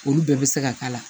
Olu bɛɛ bɛ se ka k'a la